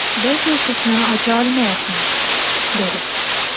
Biz eshikni ocha olmayapmiz”, dedi.